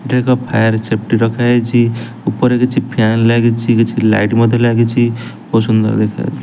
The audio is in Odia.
ଏଠି ଏକ ଫାୟାର ସଫେଟି ରଖା ହେଇଛି ଉପରେ କିଛି ଫ୍ୟାନ ଲାଗିଛି କିଛି ଲାଇଟ୍ ମଧ୍ୟ ଲାଗିଛି ବହୁତ ସୁନ୍ଦର ଦେଖା --